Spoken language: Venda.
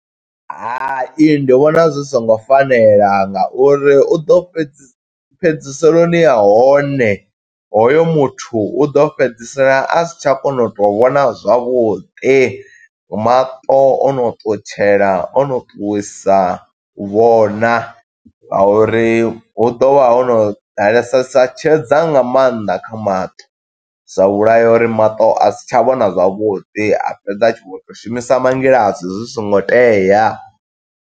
Hai, ndi vhona zwi songo fanela nga uri u ḓo fhedza fhedziseloni ha hone, hoyo muthu u ḓo fhedzisela a si tsha kona u tou vhona zwavhuḓi. Maṱo ono ṱutshela ono ṱuwisa u vhona nga uri hu ḓo vha ho no ḓalesesa tshedza nga maanḓa kha maṱo. Zwa vhulaya uri maṱo a si tsha vhona zwavhuḓi a fhedza a tshi khou to shumisa mangilasi zwi songo tea.